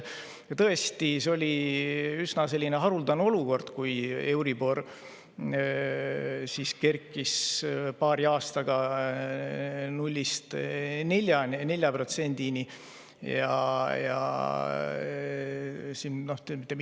Tõesti, see oli üsna haruldane olukord, kus euribor kerkis paari aastaga 0‑st 4%‑ni.